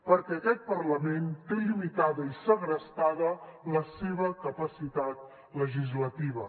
perquè aquest parlament té limitada i segrestada la seva capacitat legislativa